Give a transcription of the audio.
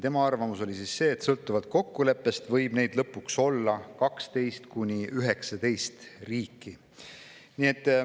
Tema arvamus oli see, et sõltuvalt kokkuleppest võib lõpuks olla 12–19 sellist riiki.